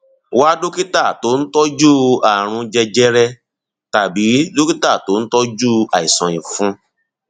wá dókítà tó ń tọjú ààrùn jẹjẹrẹ tàbí dókítà tó ń tọjú àìsàn ìfun